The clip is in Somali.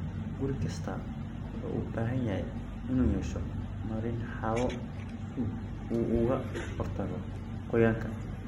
Guri kastaa wuxuu u baahan yahay inuu yeesho marin hawo si uu uga hortago qoyaanka.